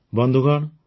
ବନ୍ଧୁଗଣ